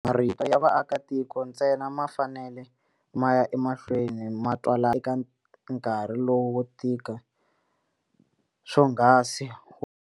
Marito ya vaakitiko ntsena ma fanele ma ya emahlweni ma twakala eka nkarhi lowu wo tika swonghasi.